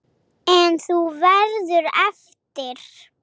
En þú verður eftir.